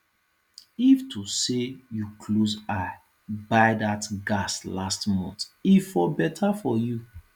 if to say you close eye buy that gas last month e for better for you